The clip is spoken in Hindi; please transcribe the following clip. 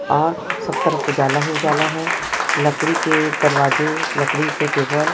आ सब तरफ उजाला ही उजाला है लकड़ी के दरवाजे लकड़ी के टेबल --